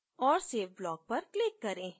और save block पर click करें